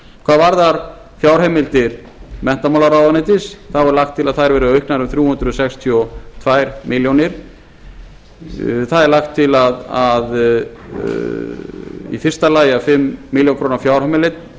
hvað varðar fjárheimildir menntamálaráðuneytis þá er lagt til að þær verði auknar um þrjú hundruð sextíu og tvær milljónir það er lagt til í fyrsta lagi að fimm milljónir króna